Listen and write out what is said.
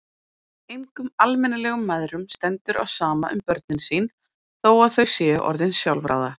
Engum almennilegum mæðrum stendur á sama um börnin sín þó að þau séu orðin sjálfráða.